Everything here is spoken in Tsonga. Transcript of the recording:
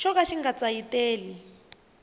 xo ka xi nga tsayiteli